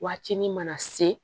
Waati ni mana se